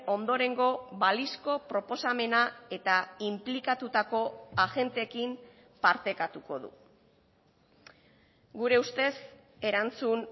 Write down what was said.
ondorengo balizko proposamena eta inplikatutako agenteekin partekatuko du gure ustez erantzun